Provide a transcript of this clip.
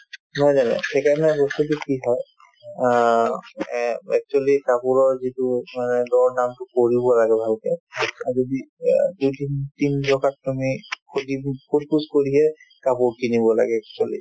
নহয় জানো সেইকাৰণে বস্তুতো কি হয় অ এহ্ actually কাপোৰৰ যিটো মানে দৰ দামতো কৰিব লাগে ভালকে আৰু সোধিপোছ~ সোধপোছ কৰিহে কাপোৰ কিনিব লাগে actually